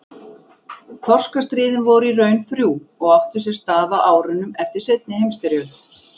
Þorskastríðin voru í raun þrjú og áttu sér stað á árunum eftir seinni heimsstyrjöld.